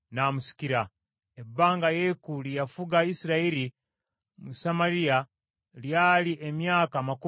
Ebbanga Yeeku lye yafuga Isirayiri mu Samaliya lyali emyaka amakumi abiri mu munaana.